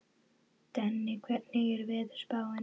Denni, hvernig er veðurspáin?